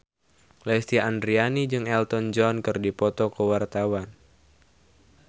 Lesti Andryani jeung Elton John keur dipoto ku wartawan